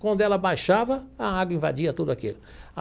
Quando ela baixava, a água invadia tudo aquilo.